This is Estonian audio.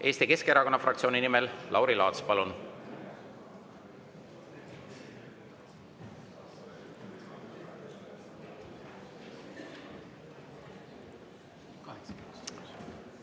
Eesti Keskerakonna fraktsiooni nimel Lauri Laats, palun!